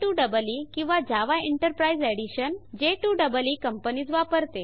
J2EE किंवा Java enterprise edition j2ईई companies वापरते